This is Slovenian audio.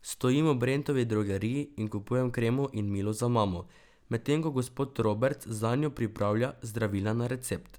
Stojim v Brentovi drogeriji in kupujem kremo in milo za mamo, medtem ko gospod Roberts zanjo pripravlja zdravila na recept.